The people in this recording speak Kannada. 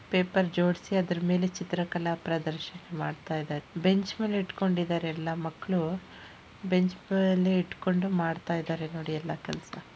ಪೇಪರ್ ಜೋಡಿಸಿ ಅದರ ಮೇಲೆ ಚಿತ್ರಕಲಾ ಪ್ರದರ್ಶನ ಮಾಡ್ತಾಯಿದಾರೆ ಬೆಂಚ್ ಮೇಲೆ ಇಟ್ಕೊಂಡಿದಾರೆ ಎಲ್ಲಾ ಮಕ್ಕಳು ಬೆಂಚ್ ಮೇಲೆ ಇಟ್ಕೊಂಡು ಮಾಡ್ತಾಯಿದಾರೆ ನೋಡಿ ಎಲ್ಲ ಕೆಲಸಾ--